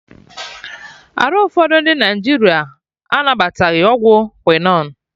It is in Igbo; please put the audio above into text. Arụ ụfọdụ ndị Naịjirịa anabataghị ọgwụ quinon